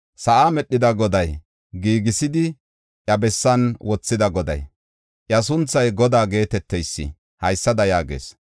Sa7aa medhida Goday, giigisidi iya bessan wothida Goday, iya sunthay Godaa geeteteysi haysada yaagees: